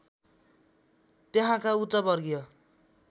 त्यहाँका उच्च वर्गीय